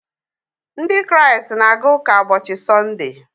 Ndị Kraịst na-aga ụka ụbọchị Sọnde